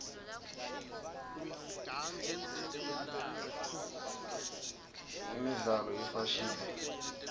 imibzalo yefashini